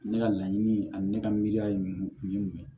Ne ka laɲini ani ne ka miiriya ye o ye mun ye